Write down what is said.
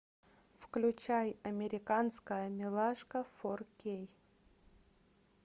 включай американская милашка фор кей